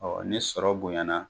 Awɔ ni sɔrɔ bonyana